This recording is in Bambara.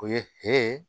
O ye hɛrɛ ye